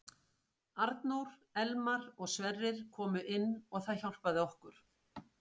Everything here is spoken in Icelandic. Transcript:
Arnór, Elmar og Sverrir komu inn og það hjálpaði okkur.